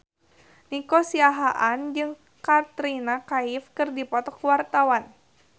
Nico Siahaan jeung Katrina Kaif keur dipoto ku wartawan